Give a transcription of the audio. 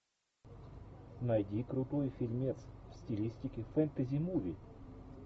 найди крутой фильмец в стилистике фэнтези муви